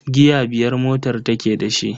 Giya biyar motar take da shi.